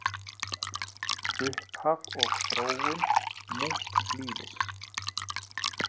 Upphaf og þróun munklífis